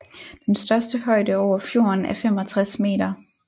Den største højde over fjorden er 65 meter